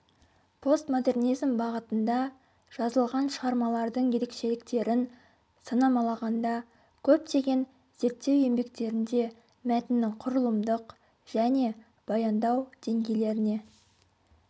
постмодернизм бағытында жазылған шығармалардың ерекшеліктерін санамалағанда көптеген зерттеу еңбектерінде мәтіннің құрылымдық және баяндау деңгейлеріне